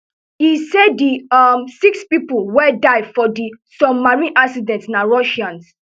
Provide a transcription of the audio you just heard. e say di um six pipo wey die for di submarine accident na russians